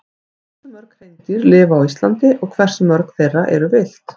Hversu mörg hreindýr lifa á Íslandi og hversu mörg þeirra eru villt?